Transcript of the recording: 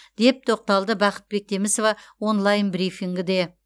деп тоқталды бақыт бектемісова онлайн брифингіде